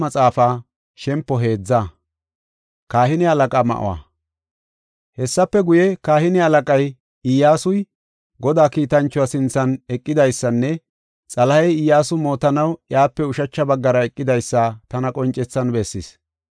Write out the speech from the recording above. Hessafe guye, kahine halaqay Iyyasuy Godaa kiitanchuwa sinthan eqidaysanne xalahey Iyyasu mootanaw iyape ushacha baggara eqidaysa tana qoncethan bessis.